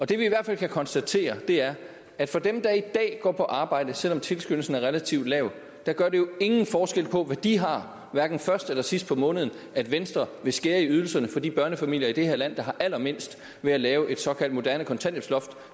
det vi i hvert fald kan konstatere er at for dem der er i dag går på arbejde selv om tilskyndelsen er relativt lav gør det jo ingen forskel på hvad de har hverken først eller sidst på måneden at venstre vil skære i ydelserne for de børnefamilier i det her land der har allermindst ved at lave et såkaldt moderne kontanthjælpsloft